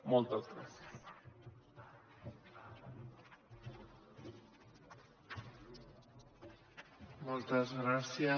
moltes gràcies